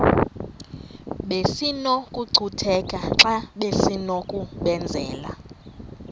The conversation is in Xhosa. besinokucutheka xa besinokubenzela